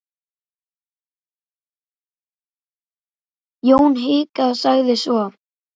Jón hikaði, sagði svo